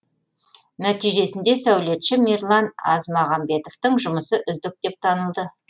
нәтижесінде сәулетші мирлан азмағамбетовтың жұмысы үздік деп танылды